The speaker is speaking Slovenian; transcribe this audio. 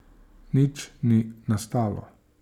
Nič ni nastalo.